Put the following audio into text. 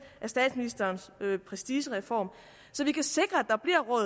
af statsministerens prestigereform så vi kan sikre